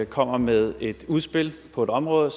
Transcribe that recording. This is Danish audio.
kommer med et udspil på et område